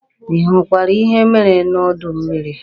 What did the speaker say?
Ị hụkwara ihe mere n'udu mmịrị?